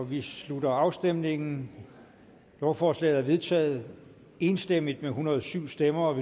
vi slutter afstemningen lovforslaget er vedtaget enstemmigt med en hundrede og syv stemmer